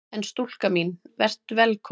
En stúlka mín: Vertu velkomin!